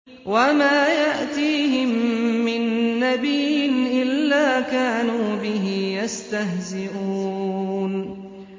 وَمَا يَأْتِيهِم مِّن نَّبِيٍّ إِلَّا كَانُوا بِهِ يَسْتَهْزِئُونَ